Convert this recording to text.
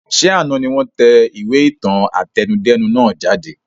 Ṣé àná ni wọn tẹ ìwé ìtàn àtẹnudẹ́nu nàá jáde?